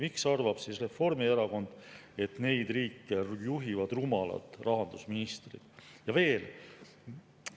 Miks arvab Reformierakond, et neid riike juhivad rumalad rahandusministrid?